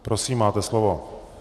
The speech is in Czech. Prosím, máte slovo.